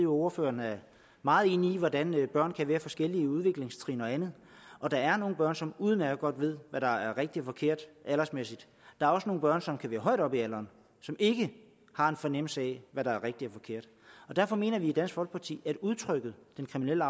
ordføreren er meget inde i hvordan børn kan være på forskellige udviklingstrin og andet og der er nogle børn som udmærket godt ved hvad der er rigtigt og forkert der er også nogle børn som kan være højt oppe i alderen som ikke har en fornemmelse af hvad der er rigtigt og forkert derfor mener vi i dansk folkeparti at udtrykket den kriminelle